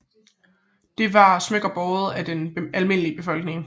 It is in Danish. Det var smykker båret af den almindelige befolkning